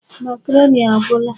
Makaroni agwụla.